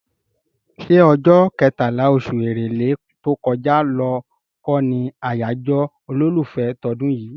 ṣé ọjọ́ kẹtàlá, oṣù Èrèlé tó kọjá lọ kọ́ ni àyájọ́ olólùfẹ́ tọdún yìí?